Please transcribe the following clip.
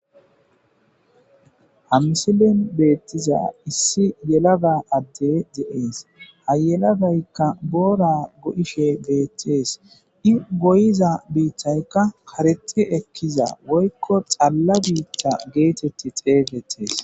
hamisilen beettiza issi yelaga adde de'ees hayelagaykka boora go'ishe beettees di goyiza biittaykka kareti ekkiza woykko xalla biitta geetetti xeesettees